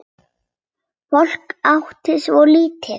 Fólk átti svo lítið.